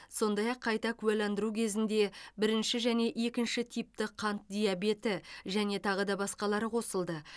сондай ақ қайта куәландыру кезінде бірінші және екінші типті қант диабеті және тағы да басқалары қосылды